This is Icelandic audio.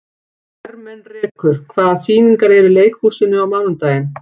Ermenrekur, hvaða sýningar eru í leikhúsinu á mánudaginn?